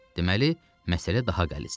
Deməli, məsələ daha qəlizdir.